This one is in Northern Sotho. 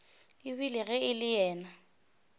ebile ge e le yena